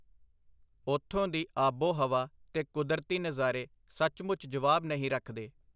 ਉਥੋਂ ਦੀ ਆਬੋ-ਹਵਾ ਤੇ ਕੁਦਰਤੀ ਨਜ਼ਾਰੇ ਸੱਚਮੁੱਚ ਜਵਾਬ ਨਹੀਂ ਰਖਦੇ.